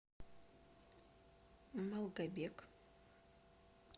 малгобек